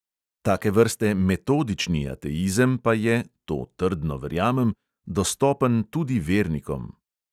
Take vrste metodični ateizem pa je – to trdno verjamem – dostopen tudi vernikom.